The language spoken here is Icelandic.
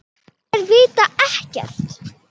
En þær vita ekkert.